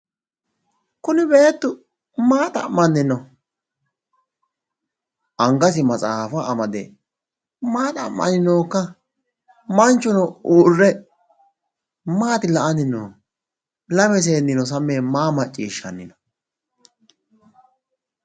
Kuni beettu maa xa'manni no? angasi maxaafa amade maa xa'manni nookka? manchuno uurre maati la"anni noohu? lame seennino sammi yee maa macciishshanni no?